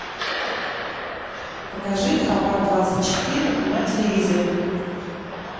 покажи хабар двадцать четыре на телевизоре